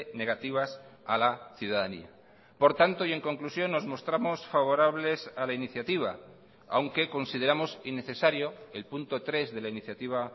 negativas a la ciudadanía por tanto y en conclusión nos mostramos favorables a la iniciativa aunque consideramos innecesario el punto tres de la iniciativa